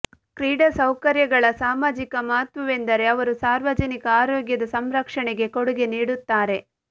ಕ್ರೀಡಾ ಸೌಕರ್ಯಗಳ ಸಾಮಾಜಿಕ ಮಹತ್ವವೆಂದರೆ ಅವರು ಸಾರ್ವಜನಿಕ ಆರೋಗ್ಯದ ಸಂರಕ್ಷಣೆಗೆ ಕೊಡುಗೆ ನೀಡುತ್ತಾರೆ